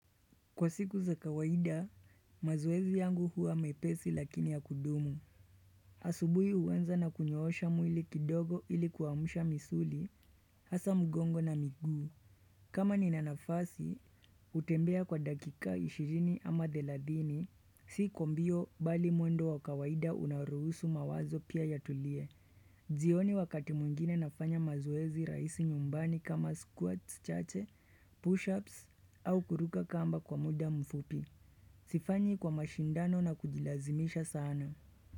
Kwa siku za kawaida, mazoezi yangu huwa mepesi lakini ya kudumu. Asubuhi huaza na kunyoosha mwili kidogo ili kuamusha misuli, hasa mgongo na miguu. Kama nina nafasi, utembea kwa dakika 20 ama 30, si kumbio bali mwendo wa kawaida unaruusu mawazo pia yatulie. Jioni wakati mungine nafanya mazoezi raisi nyumbani kama squat, chache, push-ups au kuruka kamba kwa muda mfupi. Sifanyi kwa mashindano na kujilazimisha sana.